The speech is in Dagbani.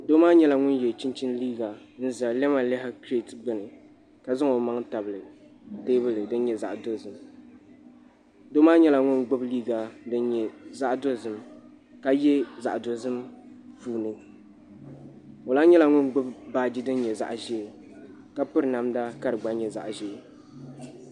Doo maa nyɛla ŋun yɛ chinchin liiga n ʒɛ lamalihi kirɛt gbuni ka zaŋ o maŋ tabili teebuli din nyɛ zaɣ dozim doo maa nyɛla ŋun gbubi liiga din nyɛ zaɣ dozim ka yɛ zaɣ dozim puuni o lahi nyɛla ŋun gbubi baaji din nyɛ zaɣ ʒiɛ ka piri namda ka di nyɛ zaɣ ʒiɛ